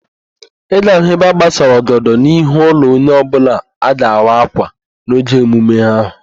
Ị ga-ahụ ebe agbasara ọgọdọ n'ihu ụlọ onye ọbụla a ga-awa ákwà n'oge emume ahụ